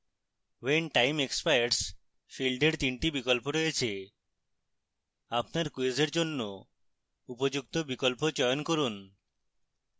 when time expires field when 3 the বিকল্প রয়েছে আপনার quiz when জন্য উপযুক্ত বিকল্প চয়ন করুন